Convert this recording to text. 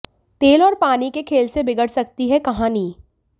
तेल और पानी के खेल से बिगड़ सकती है कहानी